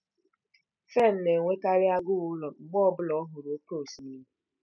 Fern na-enwekarị agụụ ụlọ mgbe ọ bụla ọ hụrụ oké osimiri.